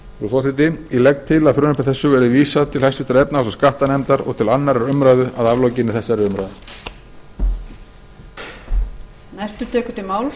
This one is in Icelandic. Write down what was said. forseti ég legg til að frumvarpi þessu verði vísað til háttvirtrar efnahags og skattanefndar og til annarrar umræðu að aflokinni þessari umræðu